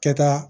Kɛta